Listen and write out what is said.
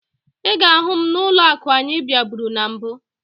Ị ga-ahụ m n'ụlọakụ ahụ anyị bịaburu na mbụ